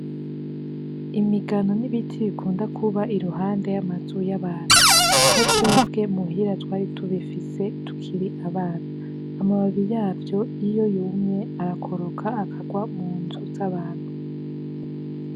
Imigano ni ibiti bikunda kuba i ruhande y'amazu y'abantu. Na twebwe i muhira twari tubifise tukiri abana. Amababi yavyo iyo yumye arakoroka, Akarwa mu nzu z'abantu.